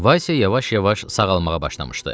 Vase yavaş-yavaş sağalmağa başlamışdı.